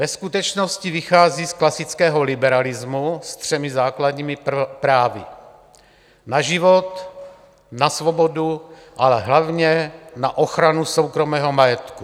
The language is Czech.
Ve skutečnosti vychází z klasického liberalismu s třemi základními právy: na život, na svobodu, ale hlavně na ochranu soukromého majetku.